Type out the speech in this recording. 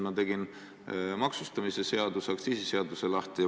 Ma tegin maksustamise seaduse, aktsiisiseaduse lahti.